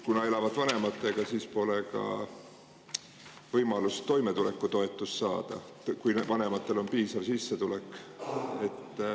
Kuna nad elavad vanematega, siis pole ka võimalust toimetulekutoetust saada, kui vanematel on piisav sissetulek.